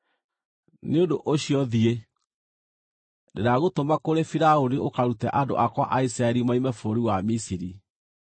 Nĩ ũndũ ũcio, thiĩ. Ndĩragũtũma kũrĩ Firaũni ũkarute andũ akwa a Isiraeli moime bũrũri wa Misiri.”